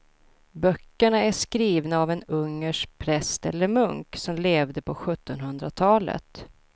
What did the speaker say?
Böckerna är skrivna av en ungersk präst eller munk som levde på sjuttonhundratalet.